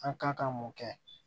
An ka kan mun kɛ